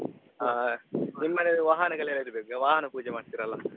ಹ ನಿಮ್ಮ್ ಮನೇಲಿ ವಾಹನಗಳಿರ್ಬೇಕು ವಾಹನ ಪೂಜೆ ಮಾಡ್ತೀರಲ್ಲಾ.